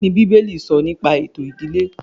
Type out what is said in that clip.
Kíni bíbélì sọ nípa ètò ìdílé